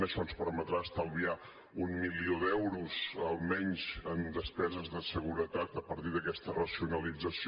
això ens permetrà estalviar un milió d’euros almenys en despeses de seguretat a partir d’aquesta racionalització